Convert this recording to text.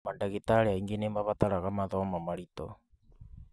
Mandagĩtarĩ aingĩ nĩ mabataraga mathomo maritũ.